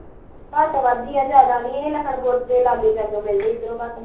ਘੱਟ ਵੱਧ ਈ ਆ ਏਨੇ ਜਿਆਦਾ ਨੀ ਲੱਖਨਪੁਰ ਦੇ ਲਾਗੇ ਸ਼ਾਂਗੇ ਮਿਲਦੇ ਇਧਰੋਂ ਘੱਟ ਮਿਲਦੇ